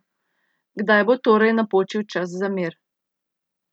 Kdaj bo torej napočil čas za mir?